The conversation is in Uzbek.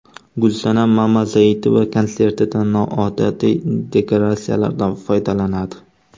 Gulsanam Mamazoitova konsertida noodatiy dekoratsiyalardan foydalanadi.